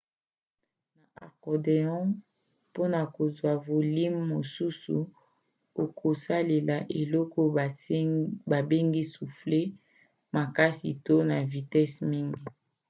na accordéon mpona kozwa volime mosusu okosalela eloko babengi soufflet makasi to na vitese mingi